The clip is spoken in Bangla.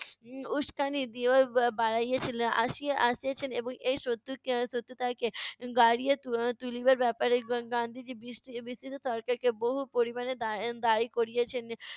উম উস্কানি দিয়ো বা~ বাড়াইয়েছিলেন আসিয়া আসিয়াছেন এবং এই শত্রুকে এর শত্রুতাকে বাড়িয়ে তু~ এর তুলিবার ব্যাপারে গা~ গান্ধীজি বিটি~ ব্রিটিশ সরকারকে বহু পরিমাণে দায়ী দায়ী করিয়েছেন।